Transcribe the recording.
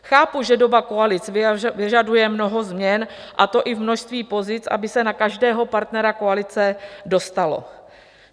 Chápu, že doba koalic vyžaduje mnoho změn, a to i v množství pozic, aby se na každého partnera koalice dostalo.